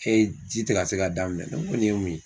ji tɛ ka ka daminɛ minɛn, ne ko nin ye mun ye.